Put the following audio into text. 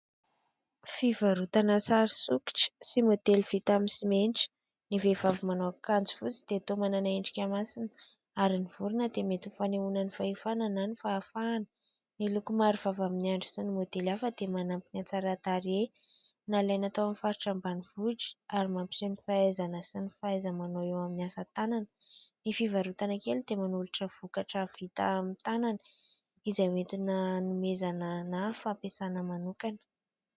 Fivarotana sary sokitra sy modely vita amin'ny simenitra. Ny vehivavy manao akanjo fotsy dia toa manana endrika masina, ary ny vorona dia mety fanehoana ny fahefana na ny fahafahana, ny loko marevava amin'ny andry sy ny modely hafa dia manampy ny an-tsara tarehy nalaina tao amin'ny faritra Ambanivohitra ary mampiseho ny fahaizana sy ny fahaiza-manao eo amin'ny asa-tanana. Ny fivarotana kely dia manolotra vokatra vita amin'ny tanana izay entina hanomezana na ampiasaina manokana.